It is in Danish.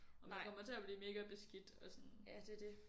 Og man kommer til at blive mega beskidt og sådan